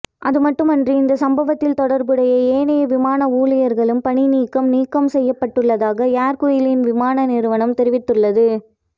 அதுமட்டுமன்றி இந்த சம்பவத்தில் தொடர்புடைய ஏனைய விமான ஊழியர்களும் பணிநீக்கம் நீக்கம் செய்யப்பட்டுள்ளதாக ஏர் குய்லின் விமான நிறுவனம் தெரிவித்துள்ளது